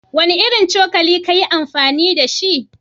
Wanne irin cokali ka yi amfani da shi?